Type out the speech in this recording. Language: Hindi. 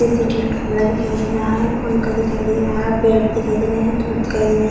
सीसीटीवी कैमरा दिखाई दे रहा है। पंखा दिखाई दे रहा है। बेड दिखाई दे रहे हैं। धूप दिखाई दे रहे हैं।